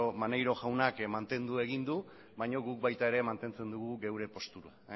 maneiro jaunak mantendu egin du baino guk baita ere mantentzen dugu geure postura